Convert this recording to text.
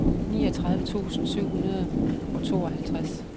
niogtredive tusind syv hundrede og tooghalvtreds